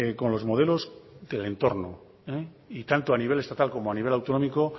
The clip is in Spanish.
con los modelos del entorno y tanto a nivel estatal como a nivel autonómico